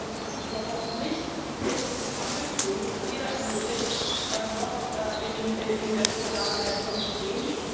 Davon ist überhaupt nichts richtig angeklungen, weder im Bericht noch in der Vorlage der Kommission.